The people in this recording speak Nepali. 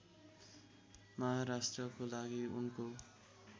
महाराष्ट्रको लागि उनको